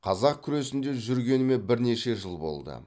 қазақ күресінде жүргеніме бірнеше жыл болды